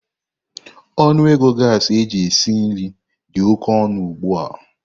Ọnụ ego gasi eji esi nri dị oke ọnụ ugbu a.